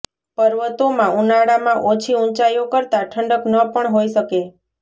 પર્વતોમાં ઉનાળામાં ઓછી ઉંચાઈઓ કરતાં ઠંડક ન પણ હોઈ શકે